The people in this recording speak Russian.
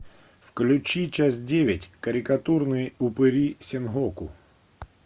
включи часть девять карикатурные упыри сенгоку